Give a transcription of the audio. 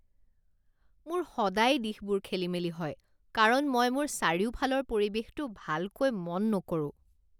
মোৰ সদায় দিশবোৰ খেলিমেলি হয় কাৰণ মই মোৰ চাৰিওফালৰ পৰিৱেশটো ভালকৈ মন নকৰোঁ।